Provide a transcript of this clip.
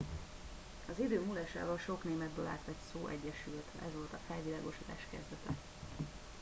az idő múlásával sok németből átvett szó egyesült ez volt a felvilágosodás kezdete